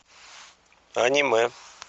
аниме